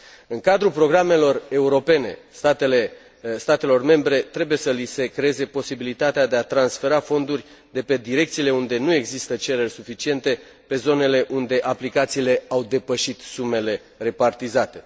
În cadrul programelor europene, statelor membre trebuie să li se creeze posibilitatea de a transfera fonduri de pe direcțiile unde nu există cereri suficiente, pe zonele unde aplicațiile au depășit sumele repartizate.